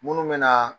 Munnu be na